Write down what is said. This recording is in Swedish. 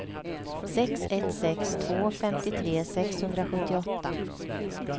sex ett sex två femtiotre sexhundrasjuttioåtta